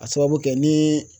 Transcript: a sababu kɛ ni